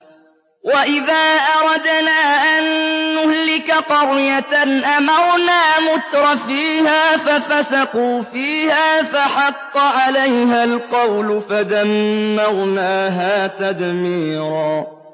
وَإِذَا أَرَدْنَا أَن نُّهْلِكَ قَرْيَةً أَمَرْنَا مُتْرَفِيهَا فَفَسَقُوا فِيهَا فَحَقَّ عَلَيْهَا الْقَوْلُ فَدَمَّرْنَاهَا تَدْمِيرًا